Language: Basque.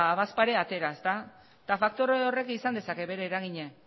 badaezpada ere atera eta faktore horrek izan dezake bere eragina